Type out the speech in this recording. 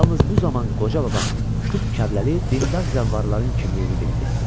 Yalnız bu zaman qoca baba Şıx Kəbləli dindar zəvvarların kimliyini bildi.